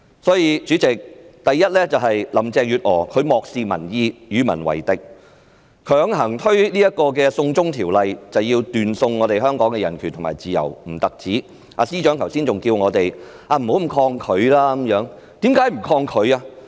因此，主席，第一，林鄭月娥漠視民意，與民為敵，不僅強推"送中條例"斷送香港的人權和自由，司長剛才還叫我們不應那麼抗拒。